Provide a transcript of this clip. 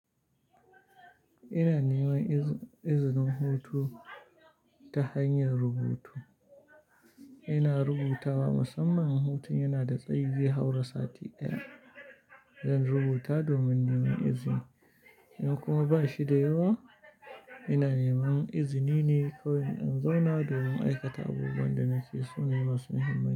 Ina neman izinin hutu ta hanyar rubutu. Ina rubutawa, musamman hutun yana da tsayi zaihaura sati ɗaya. Zan rubuta domin neman izini, in kuma ba shi da yawa, ina neman izini ne kawai in zauna domin aikata abubuwan da nake so nema su muhimmanci.